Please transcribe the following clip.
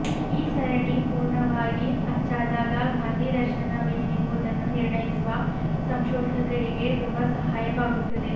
ಈ ಸರಣಿ ಪುರ್ಣವಾಗಿ ಅಚ್ಚಾದಾಗ ಗಾಂಧೀ ದರ್ಶನವೇನೆಂಬುದನ್ನು ನಿರ್ಣಯಿಸುವ ಸಂಶೋಧಕರಿಗೆ ತುಂಬ ಸಹಾಯವಾಗುತ್ತದೆ